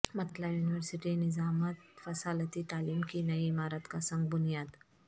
Mithila university نظامت فاصلاتی تعلیم کی نئی عمارت کا سنگ بنیاد